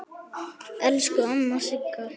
Elsku amma Sigga.